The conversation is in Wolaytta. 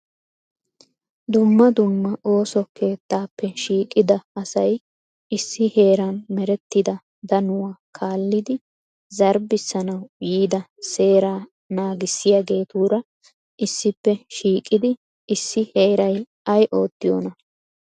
Dumma dumma ooso keettappe shiiqida asay issi heeran meretida danuwaa kaallidi zarbbissanaw yiida seeraa naggissiyaageetuura issippe shiiqidi issi heeray ay ottiyoona ?